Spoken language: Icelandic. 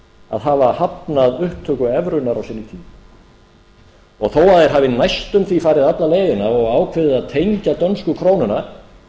að hafa hafnað upptöku evrunnar á sínum tíma og þó þeir hafi næstum því farið alla leiðina og ákveðið að tengja dönsku krónuna með tvö og hálft